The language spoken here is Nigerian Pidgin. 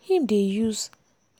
him dey use